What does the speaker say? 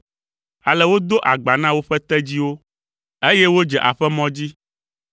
Ale wodo agba na woƒe tedziwo, eye wodze aƒemɔ dzi.